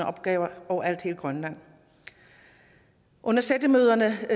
opgaver overalt i grønland under sættemøderne